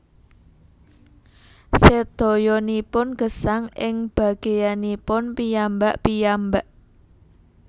Sedayanipun gesang ing bageyanipun piyambak piyambak